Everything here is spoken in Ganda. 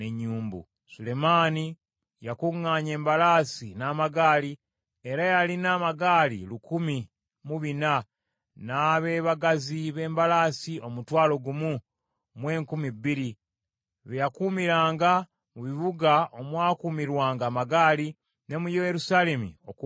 Sulemaani yakuŋŋaanya embalaasi n’amagaali, era yalina amagaali lukumi mu bina, n’abeebagazi b’embalaasi omutwalo gumu mu enkumi bbiri, be yakuumiranga mu bibuga omwakuumirwanga amagaali, ne mu Yerusaalemi okumpi naye.